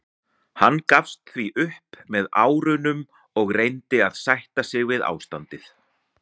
Hann gafst því upp með árunum og reyndi að sætta sig við ástandið.